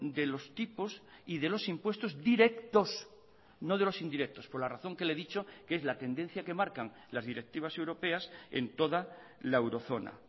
de los tipos y de los impuestos directos no de los indirectos por la razón que le he dicho que es la tendencia que marcan las directivas europeas en toda la eurozona